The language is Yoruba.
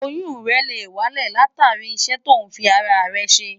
Oyún rẹ̀ lè wálẹ̀ látàrí iṣẹ́ tó ń fi ara rẹ̀ ṣe.